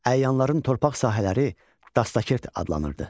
Əyanların torpaq sahələri dastakert adlanırdı.